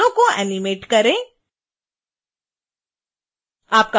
और बालों को एनीमेट करें